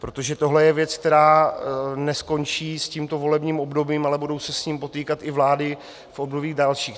Protože tohle je věc, která neskončí s tímto volebním obdobím, ale budou se s ním potýkat i vlády v obdobích dalších.